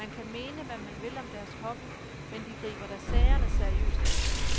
Man kan mene, hvad man vil om deres hobby, men de griber da sagerne seriøst an.